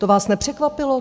To vás nepřekvapilo?